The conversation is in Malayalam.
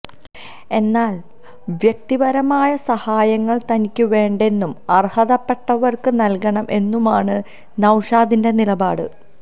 എന്നാൽ വ്യക്തിപരമായ സഹായങ്ങൾ തനിക്ക് വേണ്ടെന്നും അർഹതപ്പെട്ടവർക്ക് നൽകണം എന്നുമാണ് നൌഷാദിന്റെ നിലപാട്